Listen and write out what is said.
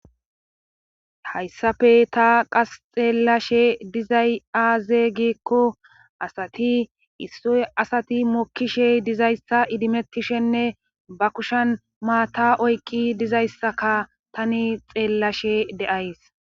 Hayssafe ta qas xeellashe dizay aazeygikko asati issoy asati mokkishe dizayssa idimettishenne ba kushen maata oykqi dizayssaka tani xeellashe de'ays.